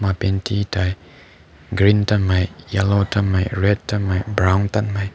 panti tai dianghmei green tamai zinhmei yellow tamai haenghmei red tamai mumhmei brown tamai.